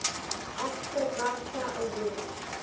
actor bafta award